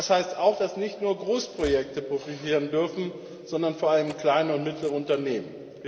Und das heißt auch, dass nicht nur Großprojekte profitieren dürfen, sondern vor allem kleine und mittlere Unternehmen.